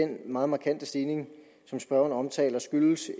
den meget markante stigning som spørgeren omtaler skyldes